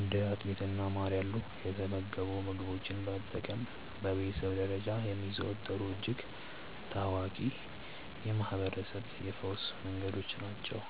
እንደ አጥሚትና ማር ያሉ የተመገቡ ምግቦችን መጠቀም በቤተሰብ ደረጃ የሚዘወተሩ እጅግ ታዋቂ የማህርበረሰብ የፈውስ መንገዶች ናቸው።